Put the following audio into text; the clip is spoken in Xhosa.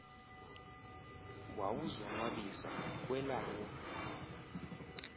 wawuzo nwabisa kwelawo